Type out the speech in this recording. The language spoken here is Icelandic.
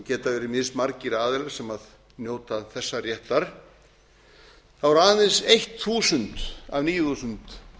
verið mismargir aðilar sem njóta þessa réttar eru aðeins eitt þúsund af níu þúsund